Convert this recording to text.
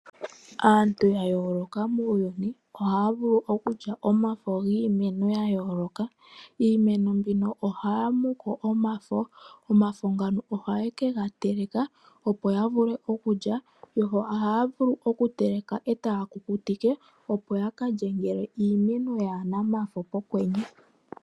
Aantu yayooloka muuyuni ohaavulu okulya omafo giimeno yayoloka, kiimeno mbyoka ohaamuko omafo nomafo ngaka ohayekegateleka opo yavule okulya, yo ohaavulu okuga teleka ndee etayegakukutike opo yakalye uuna ngele iimeno yaana omafo pokwenye.